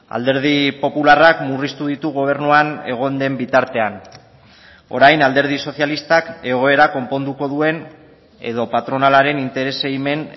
alderdi popularrak murriztu ditu gobernuan egon den bitartean orain alderdi sozialistak egoera konponduko duen edo patronalaren interesei men